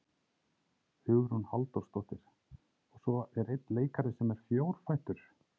Hugrún Halldórsdóttir: Og svo er einn leikari sem er fjórfættur?